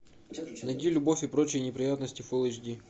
найди любовь и прочие неприятности фул эйч ди